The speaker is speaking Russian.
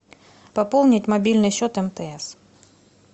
пополнить мобильный счет мтс